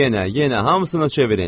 Yenə, yenə hamısını çevirin.